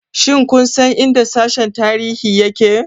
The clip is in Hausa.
Shin kun san inda Sashen Tarihi yake?